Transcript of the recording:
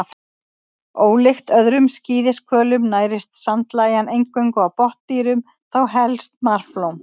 Ólíkt öðrum skíðishvölum nærist sandlægjan eingöngu á botndýrum, þá helst marflóm.